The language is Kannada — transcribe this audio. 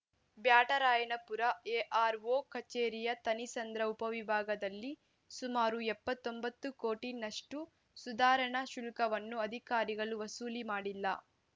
ಬ್ಯಾಟರಾಯನಪುರ ಎಆರ್‌ಒ ಕಚೇರಿಯ ಥಣಿಸಂದ್ರ ಉಪವಿಭಾಗದಲ್ಲಿ ಸುಮಾರು ಎಪ್ಪತ್ತೊಂಬತ್ತು ಕೋಟಿನಷ್ಟುಸುಧಾರಣಾ ಶುಲ್ಕವನ್ನು ಅಧಿಕಾರಿಗಳು ವಸೂಲಿ ಮಾಡಿಲ್ಲ